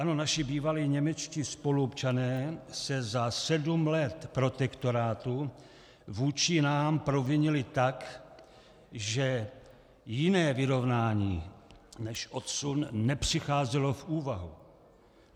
Ano, naši bývalí němečtí spoluobčané se za sedm let protektorátu vůči nám provinili tak, že jiné vyrovnání než odsun nepřicházelo v úvahu.